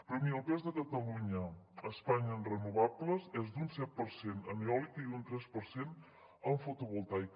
però miri el pes de catalunya a espanya en renovables és d’un set per cent en eòlica i un tres per cent en fotovoltaica